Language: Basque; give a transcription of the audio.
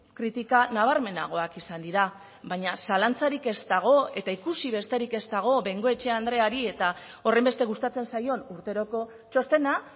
kritika nabarmenagoak izan dira baina zalantzarik ez dago eta ikusi besterik ez dago bengoechea andreari eta horrenbeste gustatzen zaion urteroko txostena